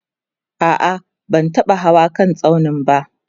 a'a ban taba Hawa kan tsaunin ba